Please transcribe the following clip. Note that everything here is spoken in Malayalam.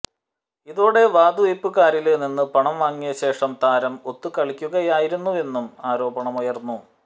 ഇതോടെ വാതുവയ്പുകാരില് നിന്നും പണം വാങ്ങിയ ശേഷം താരം ഒത്തു കളിക്കുകയായിരുന്നുവെന്നും ആരോപണമുയര്ന്നു